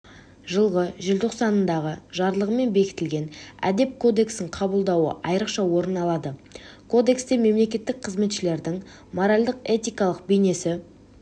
жылғы желтоқсандағы жарлығымен бекітілген әдеп кодексін қабылдауы айрықша орын алады кодексте мемлекеттік қызметшілердің моральдық-этикалық бейнесі